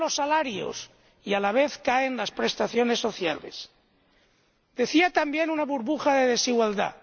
Caen los salarios y, a la vez, caen las prestaciones sociales. Hablaba también de una burbuja de desigualdad.